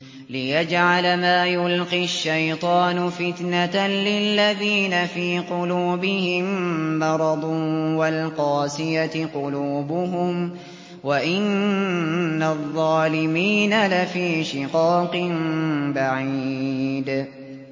لِّيَجْعَلَ مَا يُلْقِي الشَّيْطَانُ فِتْنَةً لِّلَّذِينَ فِي قُلُوبِهِم مَّرَضٌ وَالْقَاسِيَةِ قُلُوبُهُمْ ۗ وَإِنَّ الظَّالِمِينَ لَفِي شِقَاقٍ بَعِيدٍ